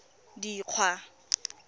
dikgwa